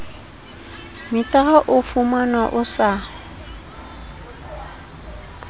metara o fumanwa o sa